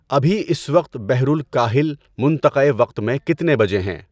ابھی اس وقت بحر الکاہل منطقۂ وقت میں کتنے بجے ہیں؟